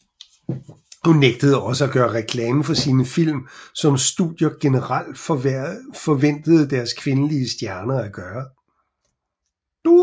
Hun nægtede også at gøre reklame for sine film som studier generelt forventede deres kvindelige stjerner at gøre